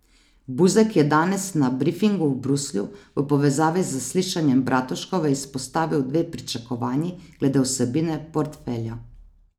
Buzek je danes na brifingu v Bruslju v povezavi z zaslišanjem Bratuškove izpostavil dve pričakovanji glede vsebine portfelja.